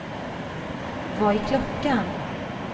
Vad är klockan